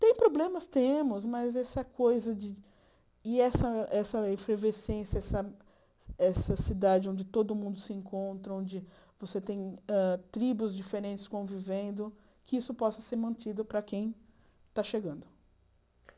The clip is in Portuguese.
Tem problemas, temos, mas essa coisa de... E essa essa efervescência, essa cidade onde todo mundo se encontra, onde você hã tem tribos diferentes convivendo, que isso possa ser mantido para quem está chegando.